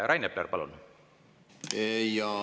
Rain Epler, palun!